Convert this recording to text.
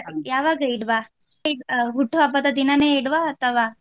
ಯಾವಾಗ ಇಡುವ ಹುಟುಹಬ್ಬದ ದಿನವೇ ಇಡುವ ಅಥವಾ.